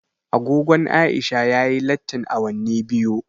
Agogon Aisha ya yi lattin awanni biyu